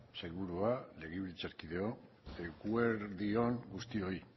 sailburua legebiltzarkideok eguerdi on guztioi